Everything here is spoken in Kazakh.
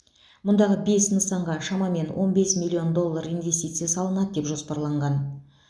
мұндағы бес нысанға шамамен он бес миллион доллар инвестиция салынады деп жоспарланған